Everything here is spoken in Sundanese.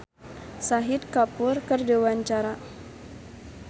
Marchell olohok ningali Shahid Kapoor keur diwawancara